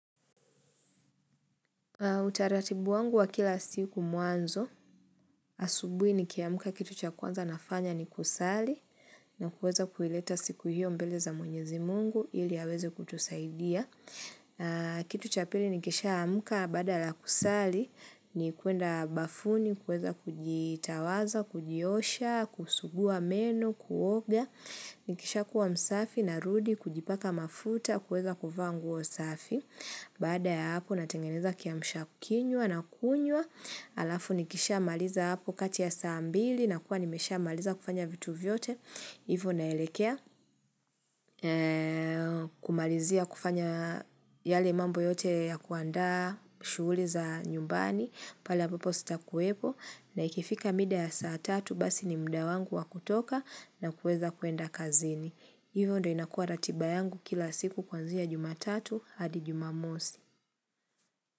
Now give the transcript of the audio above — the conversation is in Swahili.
Utaratibu wangu wa kila siku mwanzo. Asubuhi ni kiamka kitu cha kwanza nafanya ni kusali na kuweza kuileta siku hiyo mbele za mwenyezi mungu ili aweze kutusaidia. Kitu cha pili ni kisha amka baada la kusali ni kuenda bafuni, kuweza kujitawaza, kujiosha, kusugua meno, kuoga. Nikisha kuwa msafi na rudi kujipaka mafuta kuweza kuvaa nguo msafi. Baada ya hapo natengeneza kiamshakinywa na kunywa. Alafu nikisha maliza hapo kati ya sambili na kuwa nimesha maliza kufanya vitu vyote. Ivo naelekea kumalizia kufanya yale mambo yote ya kuanda shughuli za nyumbani. Pal ambapo sita kuwepo na ikifika mida ya saa tatu basi ni muda wangu wa kutoka na kuweza kuenda kazini. Hivyo ndo inakua ratiba yangu kila siku kwanzia jumatatu hadi jumamosi.